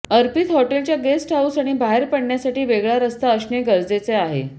अर्पित हॉटेलच्या guest house आणि बाहेर पडण्यासाठी वेगळा रस्ता असणे गरजेचे आहे